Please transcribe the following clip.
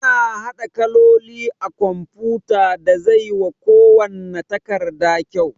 Ana haɗa kaloli a kumfuta da zai wa kuwanna takarda kyau